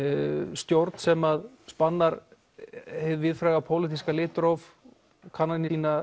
stjórn sem spannar hið víðfræga pólitíska litróf kannanir sýna